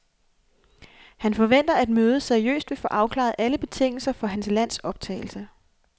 Han forventer, at mødet seriøst vil få afklaret alle betingelserne for hans lands optagelse.